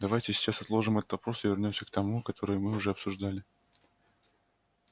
давайте сейчас отложим этот вопрос и вернёмся к тому который мы уже обсуждали